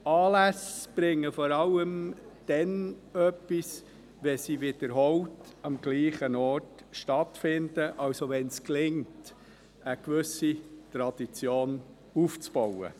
Anlässe bringen vor allem dann etwas, wenn sie wiederholt am selben Ort stattfinden, also, wenn es gelingt, eine gewisse Tradition aufzubauen.